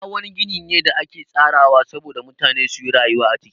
Gida wani gini ne da ake tsarawa sabo da mutane suyi rayuwa a ciki